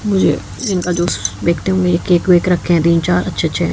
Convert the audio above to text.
मुझे लिम्का जूस बिकते हुए केक वेक रखे हुए है तीन चार अच्छे अच्छे--